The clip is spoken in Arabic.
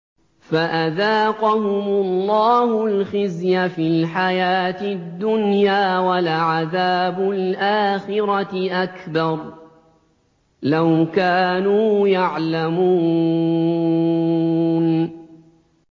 فَأَذَاقَهُمُ اللَّهُ الْخِزْيَ فِي الْحَيَاةِ الدُّنْيَا ۖ وَلَعَذَابُ الْآخِرَةِ أَكْبَرُ ۚ لَوْ كَانُوا يَعْلَمُونَ